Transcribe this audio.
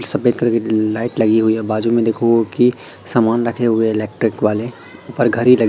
सफेद कलर की लाइट लगी हुई है बाजू में देखोगे कि समान रखे हुए है इलेक्ट्रिक वाले उपर घड़ी लगी--